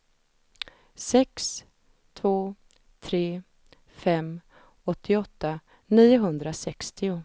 sex två tre fem åttioåtta niohundrasextio